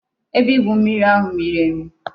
Ebe igwu mmiri ahu miri emi